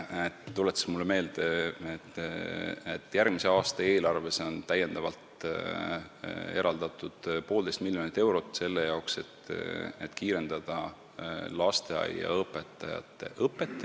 Ta tuletas mulle meelde, et järgmise aasta eelarves on täiendavalt eraldatud poolteist miljonit eurot, selleks et kiirendada eesti keelt oskavate lasteaiaõpetajate õpet.